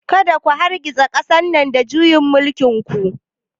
Kada ku hargitsa ƙasar nan da juyin mulkin ku!